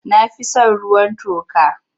Na fi son ruwan toka.